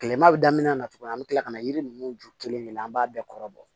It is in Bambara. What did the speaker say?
Kilema bɛ daminɛ na tugun an bɛ kila ka na yiri ninnu jɔ kelen de la an b'a bɛɛ kɔrɔ bɔ